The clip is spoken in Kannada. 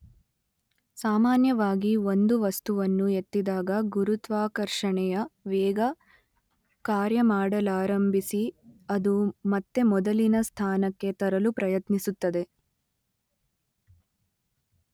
ಸಾಮಾನ್ಯವಾಗಿ ಒಂದು ವಸ್ತುವನ್ನು ಎತ್ತಿದಾಗ ಗುರುತ್ವಾಕರ್ಷಣೆಯ ವೇಗ ಕಾರ್ಯಮಾಡಲಾರಂಭಿಸಿ ಅದು ಮತ್ತೆ ಮೊದಲಿನ ಸ್ಥಾನಕ್ಕೆ ತರಲು ಪ್ರಯತ್ನಿಸುತ್ತದೆ.